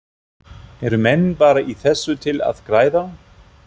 Eru menn bara í þessu til að græða?